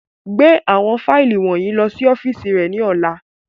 Gbe awọn faili wọnyi lọ si ọfiisi rẹ ni ọla!